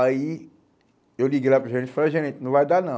Aí eu liguei lá para o gerente e falei, gerente, não vai dar não.